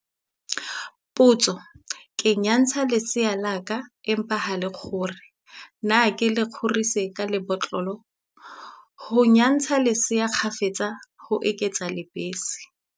Potso- Ke nyantsha lesea la ka, empa ha le kgore. Na ke le kgorisetse ka la botlolo? Ho nyantsha lesea kgafetsa, ho eketsa lebese.